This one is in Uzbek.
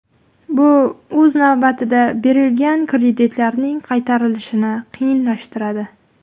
Bu o‘z navbatida berilgan kreditlarning qaytarilishini qiyinlashtiradi.